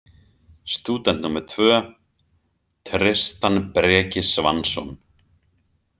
Stúdent númer tvö: Tristan Breki Svansson.